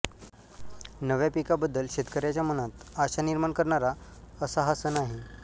नव्या पिकाबद्दल शेतकयाच्या मनात आशा निर्माण करणारा असा हा सण आहे